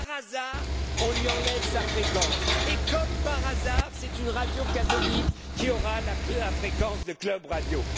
radio. Comme par hasard, on lui enlève sa fréquence, et comme par hasard, c'est une radio catholique qui aura la fréquence de Club